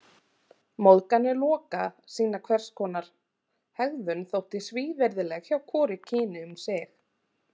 Móðganir Loka sýna hvers konar hegðun þótti svívirðileg hjá hvoru kyni um sig.